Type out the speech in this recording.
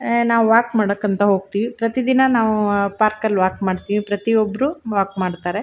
ನಾವು ವಾಕ್ ಮಾಡಕಂತ ಹೋಗತ್ತಿವಿ ಪ್ರತಿದಿನ ನಾವು ಪಾರ್ಕ್ ಅಲ್ಲಿ ವಾಕ್ ಮಾಡತ್ತಿವಿ ಪ್ರತಿಒಬ್ರು ವಾಕ್ ಮಾಡತ್ತರೆ.